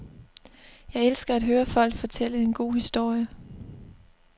Jeg elsker at høre folk fortælle en god historie.